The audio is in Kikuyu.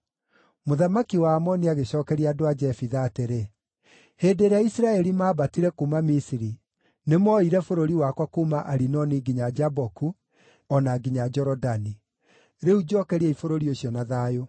Mũthamaki wa Aamoni agĩcookeria andũ a Jefitha atĩrĩ, “Hĩndĩ ĩrĩa Isiraeli maambatire kuuma Misiri, nĩmooire bũrũri wakwa kuuma Arinoni nginya Jaboku, o na nginya Jorodani. Rĩu njookeriai bũrũri ũcio na thayũ.”